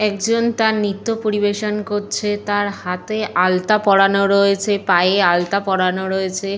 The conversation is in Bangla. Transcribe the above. একজন তার নৃত্য পরিবেশন করছে। তার হাতে আলতা পরানো রয়েছে। পায়ে আলতা পরানো রয়েছে।